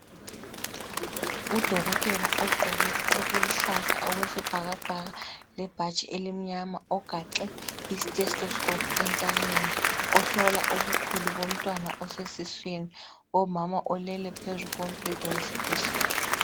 udokotela ogqoke okuluhlaza okwesibhakabhaka lebhatshi elimnyama ogaxe i stethoscope entanyeni ohlola ubukhulu bomntwana osesiswini kumama olele phezu kombheda wesibhedlela